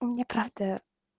мне правда